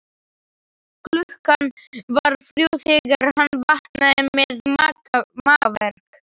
Klukkan var þrjú þegar hann vaknaði með magaverk.